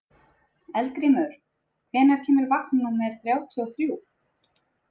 Eldgrímur, hvenær kemur vagn númer þrjátíu og þrjú?